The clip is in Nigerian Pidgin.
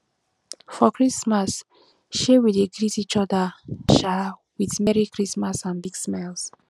for christmas um we dey greet each other um with merry christmas and big smiles